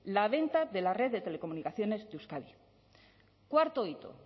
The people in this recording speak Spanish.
la venta de la red de telecomunicaciones de euskadi cuarto hito